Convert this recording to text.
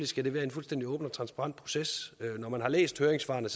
skal være en fuldstændig åben og transparent proces når man har læst høringssvarene